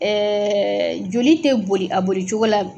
Ɛɛ joli tɛ boli a boli cogo la